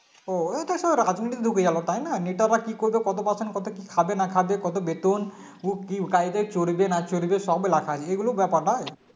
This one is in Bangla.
ও ওরা সব রাজনৈতিক লোকই আলাদা তাই না নেতারা কি করবে কত Percent কত কি খাবে না খাবে কত বেতন ও কে গাড়িতে চড়বে না চড়বে সব লেখা আছে এগুলো ব্যাপার না